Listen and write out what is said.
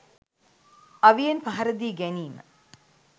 අවියෙන් පහර දී ගැනීම